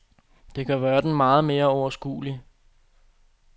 Det gør verden meget mere overskuelig.